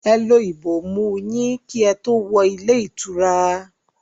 Ẹ lo ìbomú ú yín kí ẹ tó wọ ilé ìtura!